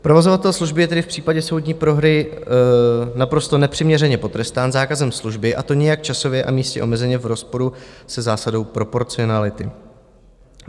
Provozovatel služby je tedy v případě soudní prohry naprosto nepřiměřeně potrestán zákazem služby, a to nijak časově a místně omezeně, v rozporu se zásadou proporcionality.